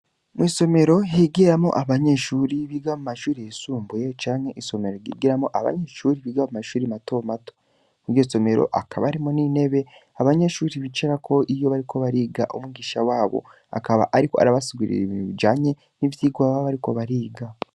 Mw'isomero higiramwo abanyeshure biga mu mashure yisumbuye canke abanyeshure biga mu mashuri mato mato. Muri iryo somero hakaba harimwo intebe abanyeshure bicarako iyo bariko bariga. Umwigisha wabo ariko arabasigurira ibintu bijanye nivyo ariko arabigisha.